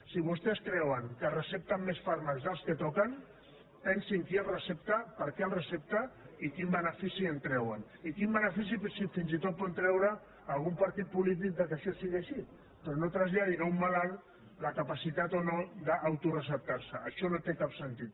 si vostès creuen que es recepten més fàrmacs dels que toquen pensin qui els recepta per què els recepta i quin benefici en treuen i quin benefici fins i tot en pot treure algun partit polític que això sigui així però no traslladi a un malalt la capacitat o no d’autoreceptar se això no té cap sentit